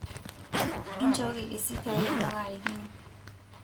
inchooki risiti ai amuu kaarikino